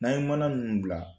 N'an ye mana n bila